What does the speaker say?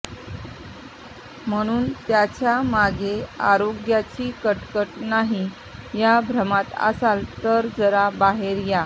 म्हणून त्याच्या मागे अनारोग्याची कटकट नाही या भ्रमात असाल तर जरा बाहेर या